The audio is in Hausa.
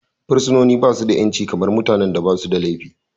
Fursuna ba shi da 'yanci kamar mutanen da ba suda laifi.